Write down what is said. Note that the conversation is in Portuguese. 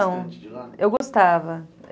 Não, eu gostava.